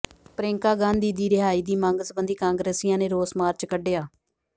ਪ੍ਰਿਅੰਕਾ ਗਾਂਧੀ ਦੀ ਰਿਹਾਈ ਦੀ ਮੰਗ ਸਬੰਧੀ ਕਾਂਗਰਸੀਆਂ ਨੇ ਰੋਸ ਮਾਰਚ ਕੱਢਿਆ